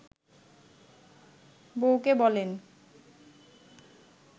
বউকে বলেন